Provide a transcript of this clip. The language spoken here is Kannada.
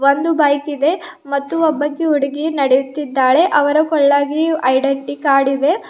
ಒಂದು ಬೈಕ ಇದೆ ಮತ್ತು ಒಬ್ಬಕಿ ಹುಡುಗಿಯ ನಡೆಯುತ್ತಿದ್ದಾಳೆ ಅವರ ಕೊಳ್ಳಾಗಿ ಐಡೆಂಟಿ ಕಾರ್ಡಿದೆ.